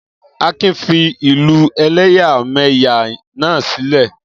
Akin fi ìlú ẹ̀lẹ́yàmẹ́yà náà sílẹ̀.